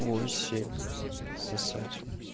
восемь сосать